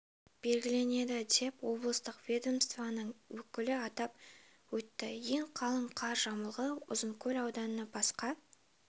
белгіленеді деп облыстық ведомствоның өкілі атап өтті ең қалың қар жамылғы ұзынкөл ауданынан басқа